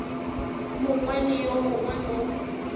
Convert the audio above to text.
mongwe le yo mongwe mo